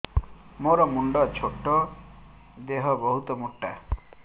ମୋର ମୁଣ୍ଡ ଛୋଟ ଦେହ ବହୁତ ମୋଟା